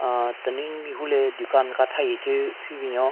Aahh tenunyu mehvu le dukan ka tha hi thyu hyu binyon.